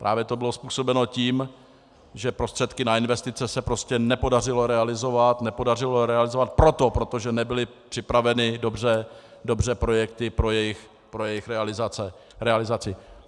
Právě to bylo způsobeno tím, že prostředky na investice se prostě nepodařilo realizovat, nepodařilo realizovat proto, protože nebyly připraveny dobře projekty pro jejich realizaci.